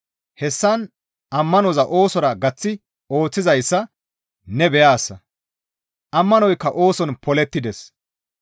Hessan ba ammanoza oosora gaththi ooththizayssa ne beyaasa; ammanoykka ooson polettides.